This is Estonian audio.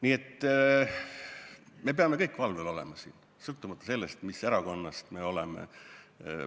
Nii et me peame siin kõik valvel olema, sõltumata sellest, mis erakonnast me oleme.